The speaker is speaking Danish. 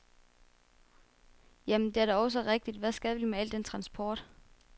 Jamen, det er da også rigtigt, hvad skal vi med al den transport?